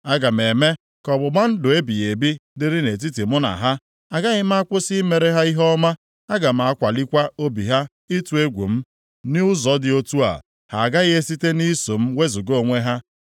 Aga m eme ka ọgbụgba ndụ ebighị ebi dịrị nʼetiti mụ na ha. Agaghị m akwụsị imere ha ihe ọma, aga m akwalikwa obi ha ịtụ egwu m. Nʼụzọ dị otu a, ha agaghị esitekwa nʼiso m wezuga onwe ha.